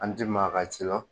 An ti maa ka ci lɔ